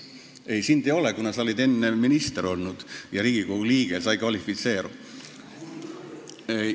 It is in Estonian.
Ei, sind siin ei ole, kuna sa oled enne minister ja Riigikogu liige olnud – sa ei kvalifitseeru.